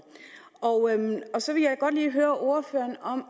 så vil jeg godt lige høre ordføreren om